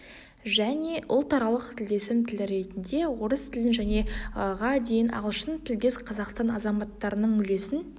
және ұлтаралық тілдесім тілі ретінде орыс тілін және ға дейін ағылшын тілдес қазақстан азаматтарының үлесін